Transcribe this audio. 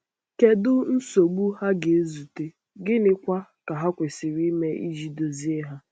Kedu nsogbu ha ga-ezute, gịnịkwa ka ha kwesịrị ime iji dozie ha?